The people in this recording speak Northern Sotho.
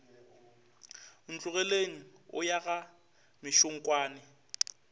ntlogeleng o ya ga mešunkwane